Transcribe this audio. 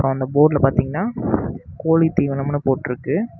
அந்த போர்டுல பாத்தீங்கன்னா கோழி தீவனம்னு போட்டுருக்கு.